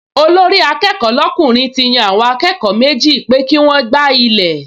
Olórí-akẹ́kọ̀ọ́ lọ́kùnrin ti yan àwọn akẹ́kọ̀ọ méjì pé kí wọ́n gbá ilẹ̀